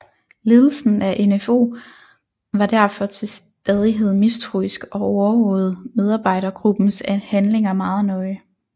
Ledelsen af NfO var derfor til staidghed mistroisk og overvågede medarbejdergruppens handlinger meget nøje